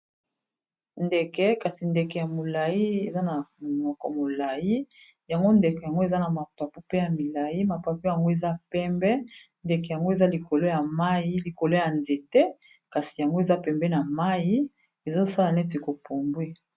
ndeke kasi. ndeke ya molayi eza na monoko molayi. yango ndeke yango eza na mapapu pe ya milayi mapapo yango eza pembe ndeke yango eza likolo ya mayi likolo ya nzete kasi yango eza pembe na mayi ezosala neti kopumbwe.